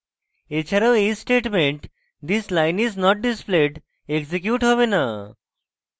এছাড়াও এই statement this line is not displayed execute হবে না